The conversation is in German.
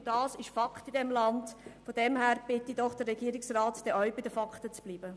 Insofern bitte ich doch den Regierungsrat ebenfalls, bei den Fakten zu bleiben.